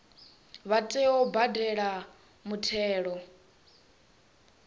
vha tea u badela muthelo